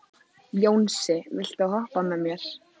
Jónsi, viltu hoppa með mér?